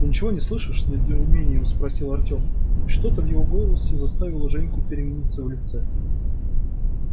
ты ничего не слышишь с недоумением спросил артём и что-то в его голосе заставило женьку перемениться в лице